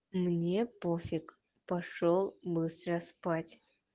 мне пофиг пошёл быстро спать